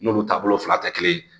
N'olu taabolo fila tɛ kelen ye